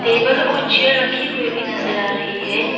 Table और chair रखी हुई भी नजर आ रही है।